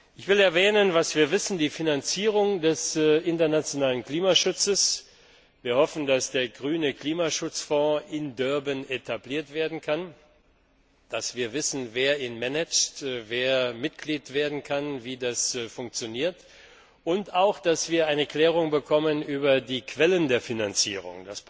kann. Ich will erwähnen, was wir wissen Die Finanzierung des internationalen Klimaschutzes wir hoffen, dass der grüne Klimaschutzfonds in Durban etabliert werden kann dass wir wissen, wer ihn managt, wer Mitglied werden kann, wie das funktioniert und auch dass wir eine Klärung bekommen über die Quellen der Finanzierung.